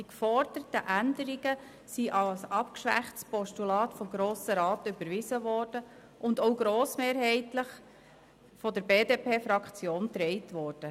Die geforderten Änderungen wurden als abgeschwächtes Postulat vom Grossen Rat überwiesen und auch grossmehrheitlich von der BDP-Fraktion getragen.